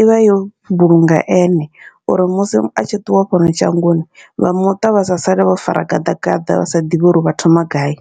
ivha yo vhulungea ene, uri musi a tshi ṱuwa fhano shangoni vha muṱa vha sa sale vho fara gaḓa gaḓa vha sa ḓivhi uri vha thoma gai.